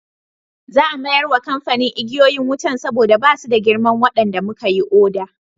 Za a mayar wa kamfanin igiyoyin wutan saboda ba su da girman waɗanda muka yi oda.